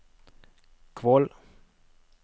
Kvål